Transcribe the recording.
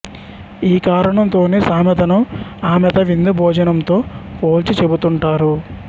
ఈ కారణంతోనే సామెతను ఆమెత విందు భోజనం తో పోల్చిచెబుతుంటారు